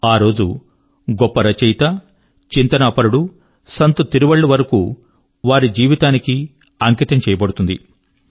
ఆ రోజు గొప్ప రచయిత చింతనాపరుడు సంత్ తిరువళ్ళువర్ కు వారి జీవితాని కి అంకితం చేయబడుతుంది